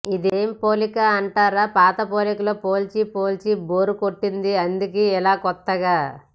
ఇదేం పోలిక అంటారా పాత పోలికలు పోల్చి పోల్చి బోరు కొట్టింది అందుకే ఇలా కొత్తగా